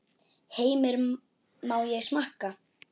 Heimir: Má ég smakka?